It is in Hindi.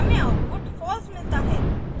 हमें आउटपुट false मिलता है